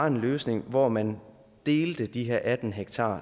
en løsning hvor man delte de her atten ha